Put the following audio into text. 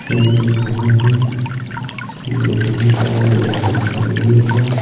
एक दुकान है दुकान पर एक लड़की खड़ी हुई है।